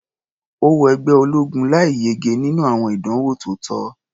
Ó wọ ẹgbẹ́ ológun láì yege nínú àwọn ìdánwò tó tọ́.